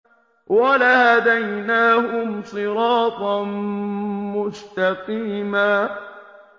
وَلَهَدَيْنَاهُمْ صِرَاطًا مُّسْتَقِيمًا